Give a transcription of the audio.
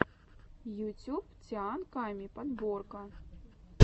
ютюб тиан ками подборка